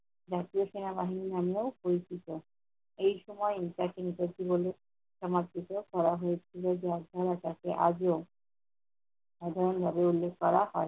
ব্যভিচার আন্দোলন নামেও পরিচিত। এই সময় তাকে নেতাজি বলে সমাদৃত করা হয়েছিল, যা এখনো তাকে আজো সাধারণভাবে উল্লেখ করা হয়।